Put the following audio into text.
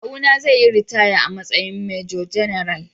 Kawuna zai yi ritaya a matsayin Major-General.